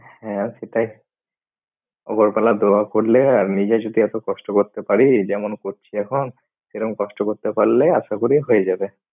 হ্যাঁ সেটাই। উপরওয়ালা দোয়া করলে নিজে যদি এত কষ্ট করতে পারি যেমন করছি এখন সেইরম কষ্ট করতে পারলে আশা করি হয়ে যাবে।